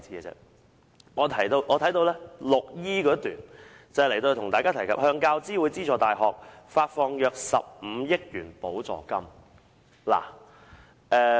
文件提到"向大學教育資助委員會資助大學發放約15億元補助金"。